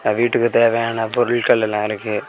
விட்டுக்கு தெவையான பொருள்கள் எல்லா இருக்கு.